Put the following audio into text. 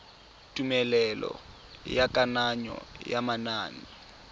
tumelelo ya kananyo ya manane